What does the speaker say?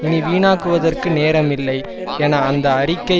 இனி வீணாக்குவதற்கு நேரம் இல்லை என அந்த அறிக்கை